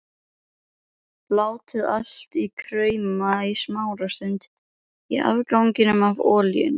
Látið allt krauma í smástund í afganginum af olíunni.